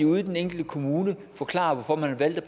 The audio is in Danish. ude i den enkelte kommune forklare hvorfor man har valgt